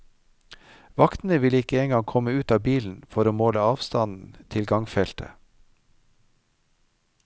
Vaktene ville ikke engang komme ut av bilen for å måle avstanden til gangfeltet.